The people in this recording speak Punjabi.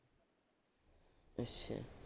ਅੱਛਾ।